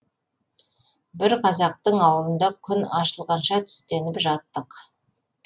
бір қазақтың ауылында күн ашылғанша түстеніп жаттық